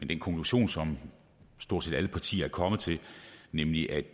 den konklusion som stort set alle partier er kommet til nemlig at